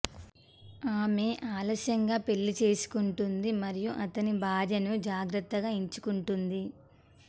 ఆమె ఆలస్యంగా పెళ్లి చేసుకుంటుంది మరియు అతని భార్యను జాగ్రత్తగా ఎంచుకుంటుంది